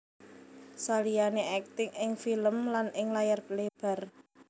Saliyane akting ing film lan ing layar lebar